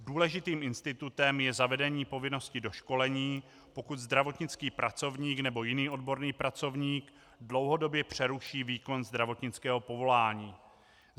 Důležitým institutem je zavedení povinností doškolení, pokud zdravotnický pracovník nebo jiný odborný pracovník dlouhodobě přeruší výkon zdravotnického povolání.